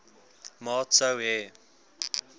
maat sou hê